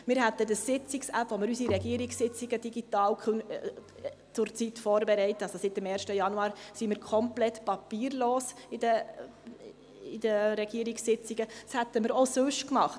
Wir hätten die Sitzungsapp, mit der wir unsere Regierungssitzungen zurzeit digital vorbereiten – seit dem 1. Januar sind wir in den Regierungssitzungen komplett papierlos – auch sonst gemacht.